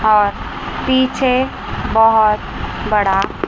और पीछे बहोत बड़ा --